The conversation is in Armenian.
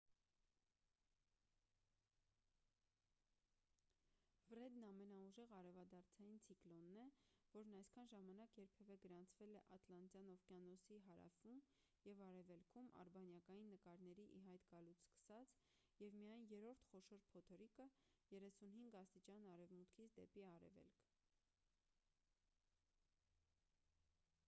ֆրեդն ամենաուժեղ արևադարձային ցիկլոնն է որն այսքան ժամանակ երբևէ գրանցվել է ատլանտյան օվկիանոսի հարավում և արևելքում ` արբանյակային նկարների ի հայտ գալուց սկսած և միայն երրորդ խոշոր փոթորիկը` 35° արևմուտքից դեպի արևելք։